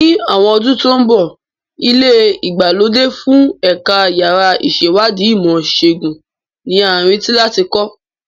Ní àwọn ọdún tó ń bọ̀, ilé ìgbàlódé fún Ẹ̀ka Yàrá Ìṣèwádìí Ìmọ̀ Ìṣègùn ni a retí láti kọ́.